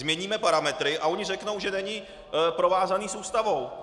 Změníme parametry - a oni řeknou, že není provázaný s Ústavou.